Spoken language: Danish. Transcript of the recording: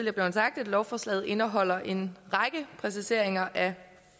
er blevet sagt at lovforslaget indeholder en række præciseringer af